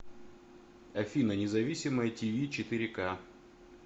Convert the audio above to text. афина независимое ти ви четыре ка